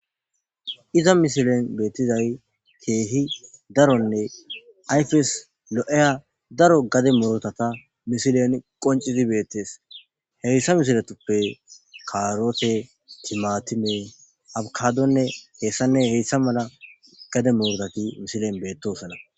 Iza missilen betizay kehi darone ayfes lo'iya daro gade murutata missilen qonc'isidine betes haysa missiletupe karote, timatime, abkadone heysane heysa mala gade murutati missilen betosona.